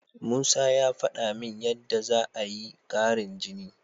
Musa ya faɗa min yadda za'a yi ƙarin jini.